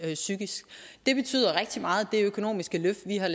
psykisk det betyder rigtig meget det økonomiske løft vi har